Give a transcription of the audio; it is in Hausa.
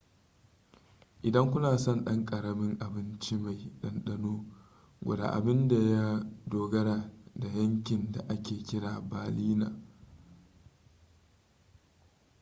idan kuna son ɗan ƙaramin abincimai ɗanɗano gwada abin da ya dogara da yankin da ake kira berliner pfannkuchen ko krapfen